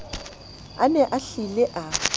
a ne a hlile a